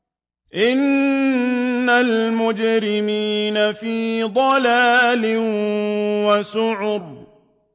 إِنَّ الْمُجْرِمِينَ فِي ضَلَالٍ وَسُعُرٍ